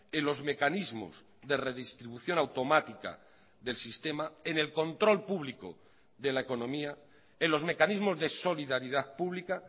en los mecanismos de redistribución automática del sistema en el control público de la economía en los mecanismos de solidaridad pública